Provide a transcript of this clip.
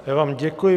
Já vám děkuji.